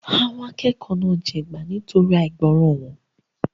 Àwọn akẹ́kọ̀ọ́ náà jẹgba nítorí àìgbọràn wọn.